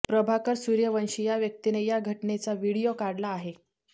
प्रभाकर सूर्यवंशी या व्यक्तीने या घटनेचा व्हिडीओ काढला आहे